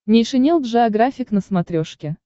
нейшенел джеографик на смотрешке